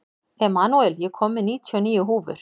Emanúel, ég kom með níutíu og níu húfur!